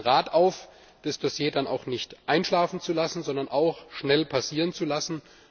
Ich rufe den Rat auf, das Dossier dann auch nicht einschlafen, sondern auch schnell passieren zu lassen.